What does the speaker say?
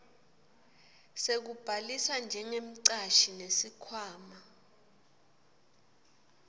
sekubhalisa njengemcashi nesikhwama